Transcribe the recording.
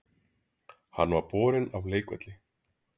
Hann var borinn af leikvelli